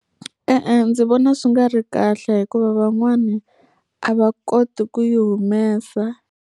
E-e, ndzi vona swi nga ri kahle hikuva van'wani a va koti ku yi humesa.